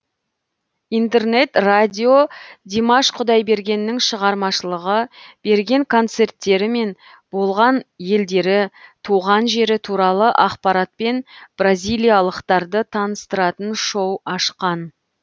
интернет радио димаш құдайбергеннің шығармашылығы берген концерттері мен болған елдері туған жері туралы ақпаратпен бразилиялықтарды таныстыратын шоу ашқан